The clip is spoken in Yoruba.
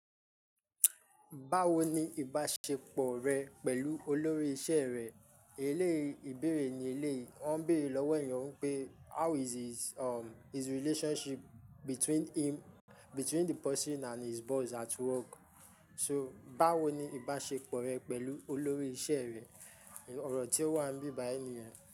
Báwo ni ìbáṣepọ̀ rẹ pẹ̀lú olórí iṣẹ́ rẹ? Eléyìí ibéèrè ní eléyìí. Wọ́n ń béèrè lọ́wọ́ ènìyàn pé how is his, um, his relationship between him, between the person and his boss at work. So báwo ni ìbáṣepọ̀ rẹ pẹ̀lú olórí iṣẹ́ rẹ? Òrò tí o wa ń bí bai niyẹ.